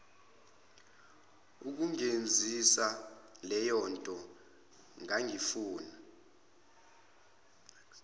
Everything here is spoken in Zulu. ukungenzisa leyonto ngangifuna